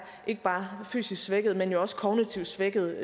ikke bare er fysisk svækkede men også kognitivt svækkede